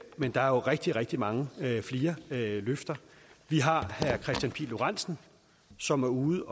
men der er jo rigtig rigtig mange flere løfter vi har herre kristian pihl lorentzen som er ude